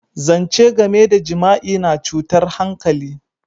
Zance game da jima'i na cutar hankali.